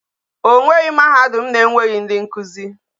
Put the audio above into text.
O nweghi mahadum na enweghi ndi nkuzi